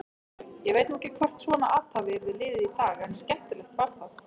Ég veit nú ekki hvort svona athæfi yrði liðið í dag en skemmtilegt var það.